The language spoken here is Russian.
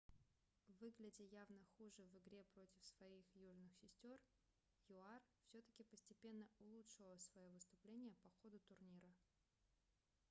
выглядя явно хуже в игре против своих южных сестер юар все-таки постепенно улучшила своё выступление по ходу турнира